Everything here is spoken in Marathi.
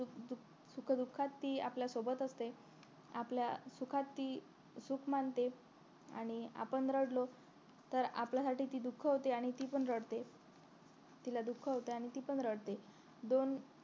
सुखदुःखात ती आपल्या सोबत असते आपल्या सुखात ती सुख मानते आणि आपण रडलो तर आपल्यासाठी ती दुःख होते आणि ती पण रडते आणि तिला दुःख होती आणि ती पण रडते दोन